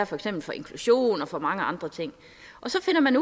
for eksempel inklusionen og mange andre ting og så finder man